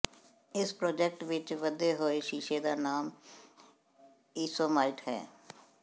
ਇਸ ਪ੍ਰੋਜੈਕਟ ਵਿੱਚ ਵਧੇ ਹੋਏ ਸ਼ੀਸ਼ੇ ਦਾ ਨਾਮ ਈਸੋਮਾਈਟ ਹੈ